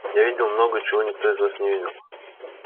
я видел много чего никто из вас не видел